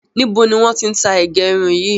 Níbo ni wọn ti ń tá ìgérun yìí?